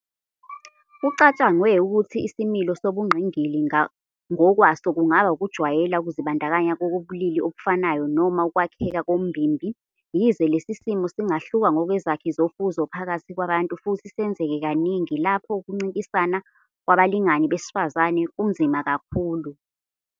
Kucatshangwe ukuthi isimilo sobungqingili ngokwaso kungaba ukujwayela ukuzibandakanya kobulili obufanayo noma ukwakheka kombimbi, yize lesi simo singahluka ngokwezakhi zofuzo phakathi kwabantu futhi senzeke kaningi lapho ukuncintisana kwabalingani besifazane kunzima kakhulu.